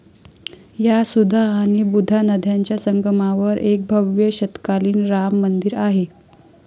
या सुधा आणि बुधा नद्यांच्या संगमावर एक भव्य शतकातील राम मंदिर आहे.